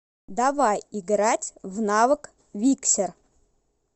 давай играть в навык виксер